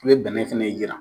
I bɛ bɛnɛ fɛnɛ yiran.